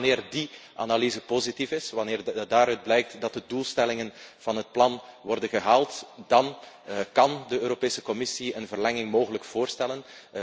Pas wanneer die analyse positief is, wanneer daaruit blijkt dat de doelstellingen van het plan worden gehaald, kan de Europese Commissie eventueel een verlenging voorstellen.